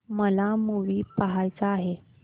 मला मूवी पहायचा आहे